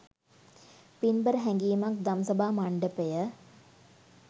පින්බර හැඟීමක් දම්සභා මණ්ඩපය